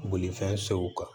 Bolifɛn sew kan